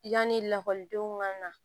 Yanni lakɔlidenw ka na